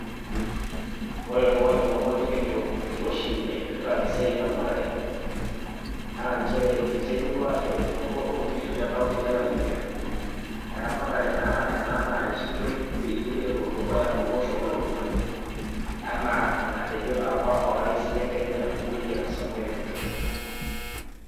Ore toolomon likincho enkiroshi naipirta esiai eramatare naa nchere eiterua eremoto oonkishu te kaunti e Laikipia, eramatare naa ena narreshitoi peyie elo dukuya tolosho olulung'a enaa enatejo apa orais le Kenya, William Samoei Ruto.